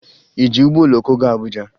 Ị ji ụgbọ oloko gaa Abuja?